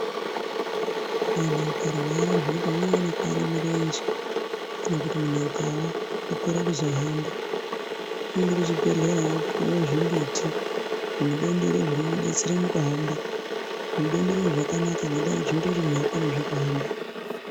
Vanthu vakarwara zviyani pamweni vanokuware mirenje, kana kuti muntu akawa okorere kuzohamba, unoende kuchibhedhlera, opiwa zvimbiti, zvimudondoro zvinomudetsera mukuhamba, zvimudondoro izvi zvakanaka ngendaa yekuti zvinoita kuti akonezve kuhamba.